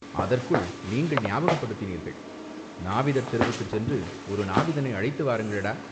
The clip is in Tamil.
அதற்குள் நீங்கள் ஞாபகப்படுத்தினீர்கள், நாவிதர் தெருவுக்குச் சென்று ஒரு நாவிதனை அழைத்து வாருங்களடா